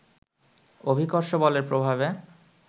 অভিকর্ষ বলের প্রভাবে